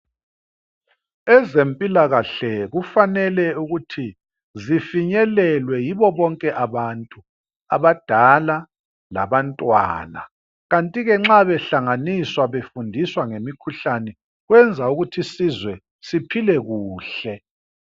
Ezempilakahle kufanele ukuthi zifinyelelwe yibo bonke abantu, abadala labantwana. Kanti-ke nxa behlanganiswa befundiswa ngemikhuhlane kwenza ukuthi isizwe siphile kuhle.